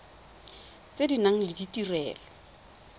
tse di nang le ditirelo